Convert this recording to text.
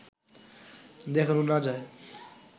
দেখানো না যায়